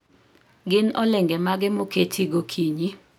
Gin olenge mage moketi gokinyi